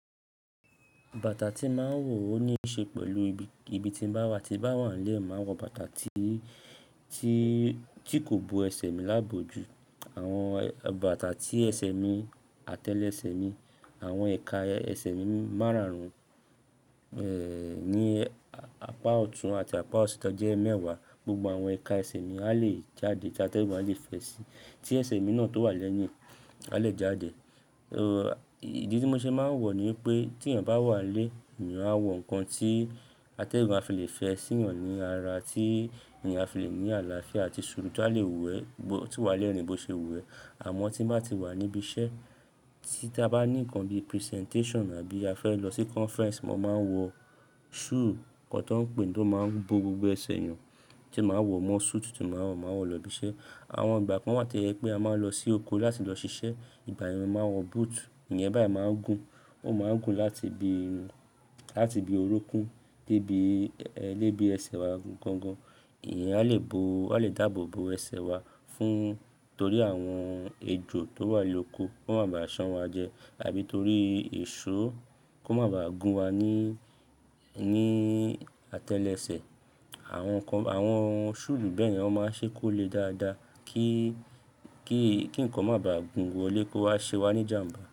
Bàtà tí má wọ òní ṣe pẹ̀lú ibi tí bá wà tí bá wà lẹ́, màá wọ bàtà tí, tí kò bo ẹsẹ̀ mi láàbò jù. Àwọn bàtà tí ẹsẹ̀ mi, atẹ́lẹsẹ̀ mi, àwọn ẹ̀ka ẹsẹ̀ mi má rà'run, ẹ́, ní apá ọ̀tún àti apá òsì tọ jẹ́ mẹ́wàá. Gbogbo àwọn ẹ̀ka ẹsẹ̀ mi á lè jáde tí atẹ́gùn a lè fẹ́ sí tí ẹsẹ̀ mi náà tó wà lẹ́yìn á lè jáde. Ò, ìdí tí mo ṣe máa ń wọ ni pé tí yàn bá wà lé, èyàn á wọ nǹkan tí atẹ́gùn a fi lè fẹ́ sí èyàn ní ara tí èyàn a fi lè ní àlàáfíà àti ṣòru tu tí a lè wù ẹ́, tí ó wà lẹ́ rìn bó ṣe wù ẹ́. Àmọ́ tí bá ti wà níbi iṣẹ́ tí dá bá ní nǹkan bí presentation àbí a fẹ́ lọ sí conference, mo máa ń wọ shoe kan tó ń pè tó máa ń bo gbogbo ẹsẹ̀ èyàn tí màá wọ mọ suit tí màá wọ, màá wọ lọ ibi iṣẹ́. Àwọn gbà kan wà to yepé a máa ń lọ sí oko láti lọ ṣiṣẹ́, ìgbà yàn máa ń wọ boot. Ìyẹn báyìí máa ń gùn, ó máa ń gùn láti ibi, láti ibi orúnkún dé ibi ẹ́, dé ibi ẹsẹ̀ wa gangan. Ìyẹn a lè bo, a lè dáàbò bo ẹsẹ̀ wa fún torí àwọn ejò tó wà ní oko kó má ba à san wa jẹ àbí torí èso kó má ba à gún wa ní, ní atẹ́lẹsẹ̀. Àwọn nǹkan, àwọn shoe bẹ́ẹ̀ ni wọn máa ń ṣe kó lè dáadáa kí, kí, kí nǹkan má ba à gún wọlé kó wá ṣe wá ní ìjàmbá.